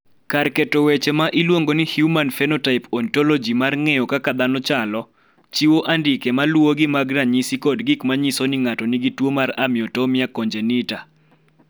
Kar keto weche ma iluongo ni Human Phenotype Ontology mar ng�eyo kaka dhano chalo, chiwo andike ma luwogi mag ranyisi kod gik ma nyiso ni ng�ato nigi tuo mar Amyotonia congenita.